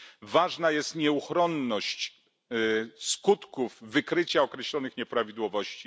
Ważna jest nieuchronność skutków wykrycia określonych nieprawidłowości.